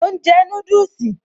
Mò ń jẹ núdùsì